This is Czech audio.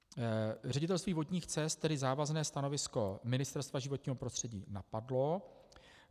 Ředitelství vodních cest tedy závazné stanovisko Ministerstva životního prostředí napadlo.